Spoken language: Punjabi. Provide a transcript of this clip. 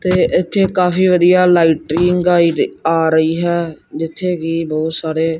ਤੇ ਇਥੇ ਕਾਫੀ ਵਧੀਆ ਲਾਈਟਨਿੰਗ ਆ ਰਹੀ ਹੈ ਜਿੱਥੇ ਕਿ ਬਹੁਤ ਸਾਰੇ--